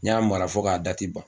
N y'a mara fo k'a ban